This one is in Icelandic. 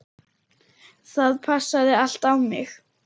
Það passaði allt á mig.